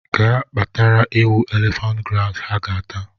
Ga kpatara ewu elephant grass ha ga ata!